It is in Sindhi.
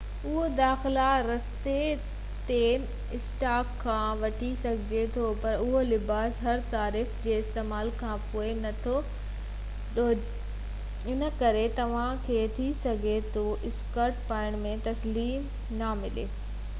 اهو داخلي رستي تي اسٽاڪ کان وٺي سگهجي ٿو پر اهو لباس هر صارف جي استعمال کانپوءِ نٿو ڌوپجي ان ڪري توهان کي ٿي سگهي ٿو اسڪرٽ پائڻ ۾ تسلي نہ ملي سڀني ماڻهن کي هڪڙي سائيز اچي ٿي